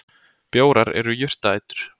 Bjórar eru jurtaætur.